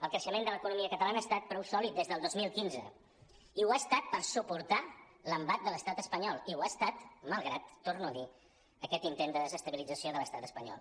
el creixement de l’economia catalana ha estat prou sòlid des del dos mil quinze i ho ha estat per suportar l’embat de l’estat espanyol i ho ha estat malgrat ho torno a dir aquest intent de desestabilització de l’estat espanyol